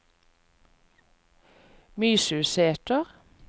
Mysusæter